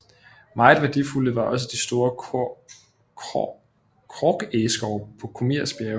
Meget værdifulde var også de store korkegeskove på Krumirs Bjerge